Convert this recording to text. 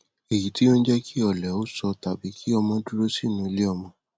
èyí tí ò ní jẹ kí ọlẹ ó sọ tàbí kí ọmọ ó dúró sínú iléọmọ